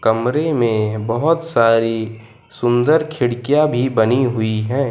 कमरे मे बहोत सारी सुंदर खिड़कियां भी बनी हुई है।